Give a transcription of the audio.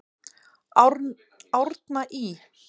Árna Ý.